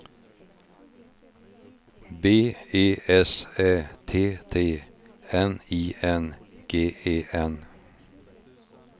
B E S Ä T T N I N G E N